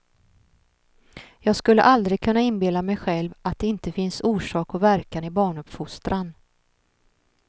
Jag skulle aldrig kunna inbilla mig själv att det inte finns orsak och verkan i barnuppfostran.